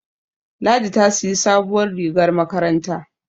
Ladi ta siyi sabuwar rigar makaranta